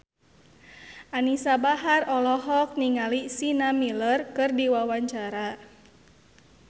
Anisa Bahar olohok ningali Sienna Miller keur diwawancara